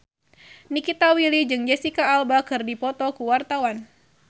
Nikita Willy jeung Jesicca Alba keur dipoto ku wartawan